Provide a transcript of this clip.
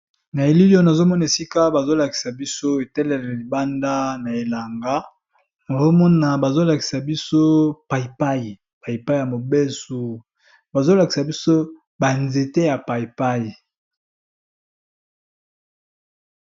Na elliliono azomona esika bazolakisa biso etelele libanda na elanga oromona bazolakisa biso paipai paipai ya mobesu bazolakisa biso banzete ya paipai.